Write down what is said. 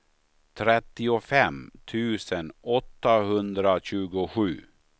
trettiofem tusen åttahundratjugosju